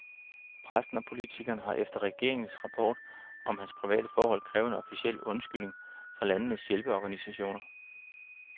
Præsten og politikeren har efter regeringens rapport om hans private forhold krævet en officiel undskyldning fra landenes hjælpeorganisationer.